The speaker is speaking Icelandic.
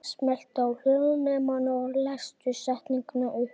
Og bauðstu honum ekki inn?